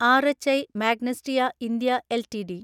R H I Magnesita India LTD